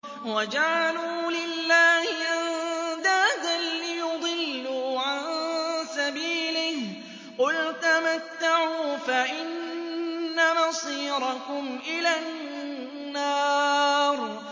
وَجَعَلُوا لِلَّهِ أَندَادًا لِّيُضِلُّوا عَن سَبِيلِهِ ۗ قُلْ تَمَتَّعُوا فَإِنَّ مَصِيرَكُمْ إِلَى النَّارِ